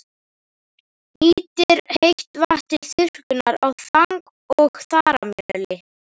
Nýtir heitt vatn til þurrkunar á þang- og þaramjöli.